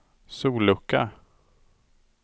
sollucka